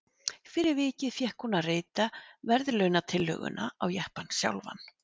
Fyrir vikið fékk hún að rita verðlaunatillöguna á jeppann sjálfan.